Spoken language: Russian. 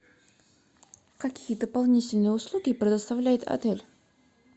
какие дополнительные услуги предоставляет отель